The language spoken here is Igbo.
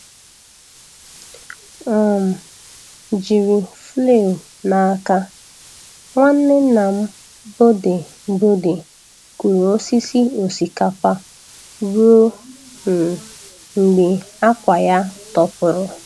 um Jiri flail n'aka, Nwanne nnam Bode Bode kụrụ osisi osikapa ruo um mgbe akwa ya tọpụrụ.